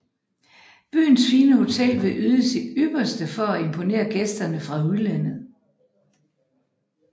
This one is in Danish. Byens fine hotel vil yde sit ypperste for at imponere gæsterne fra udlandet